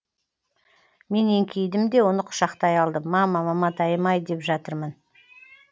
мен еңкейдім де оны құшақтай алдым мама маматайым ай деп жатырмын